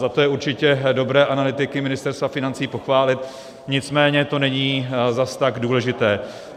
Za to je určitě dobré analytiky Ministerstva financí pochválit, nicméně to není zase tak důležité.